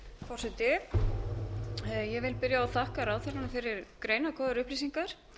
forseti ég vil byrja á að þakka ráðherranum fyrir greinargóðar upplýsingar